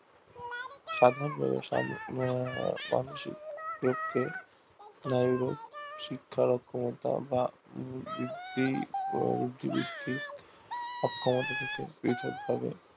সাধারণ ভাবে মানসিক রোগকে নারী রোগ বা শিক্ষার অক্ষমতা অক্ষমতা থেকে পৃথক ভাবে